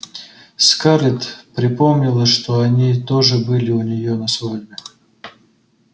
скарлетт припомнила что они тоже были у нее на свадьбе